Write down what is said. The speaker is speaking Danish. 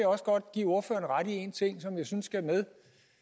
også godt give ordføreren ret i en ting som jeg synes skal med